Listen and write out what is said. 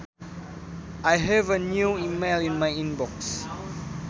I have a new email in my inbox